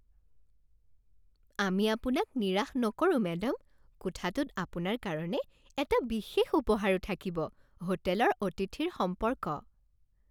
আমি আপোনাক নিৰাশ নকৰোঁ মেডাম। কোঠাটোত আপোনাৰ কাৰণে এটা বিশেষ উপহাৰো থাকিব হোটেলৰ অতিথিৰ সম্পৰ্ক